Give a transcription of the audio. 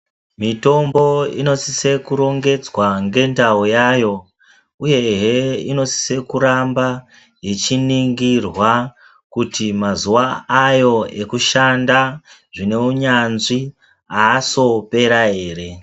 Mitombo inosisa kurongedzwa ngendau yayo, uyehe inosise kuramba ichiningirwa kuti mazuva ayo ekushanda zvine unyanzvi haasopera ere.